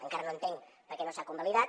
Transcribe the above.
encara no entenc per què no s’ha convalidat